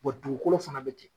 dugukolo fana bɛ ten